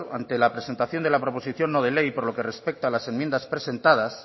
ante la presentación de la proposición no de ley por lo que respecta a las enmiendas presentadas